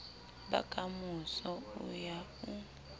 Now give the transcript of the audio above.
ba kamoso o ya o